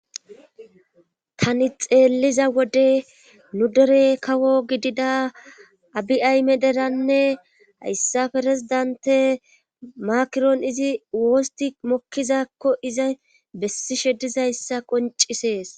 tani xeelliza wode nudere kawo gidida abiayme deranne hayssa ferezidante makiroon izi woosti mokkizakko iza bessi shedizayssa qoncisees